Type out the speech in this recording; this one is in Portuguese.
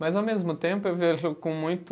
Mas, ao mesmo tempo, eu vejo com muito